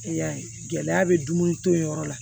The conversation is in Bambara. I y'a ye gɛlɛya bɛ dumuni to yen yɔrɔ la